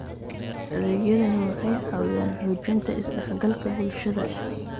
Adeegyadani waxay caawiyaan xoojinta is-dhexgalka bulshada.